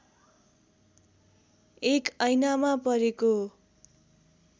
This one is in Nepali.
एक ऐनामा परेको